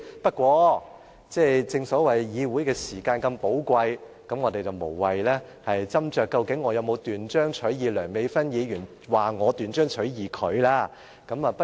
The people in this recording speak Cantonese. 不過，正所謂議會時間如此寶貴，我們無謂斟酌我究竟有否斷章取義梁美芬議員所說我斷章取義她所說的話。